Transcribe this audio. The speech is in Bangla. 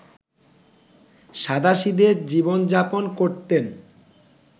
সাধাসিদে জীবন-যাপন করতেন